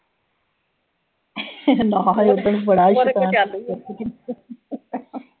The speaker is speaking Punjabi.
ਬੜਾ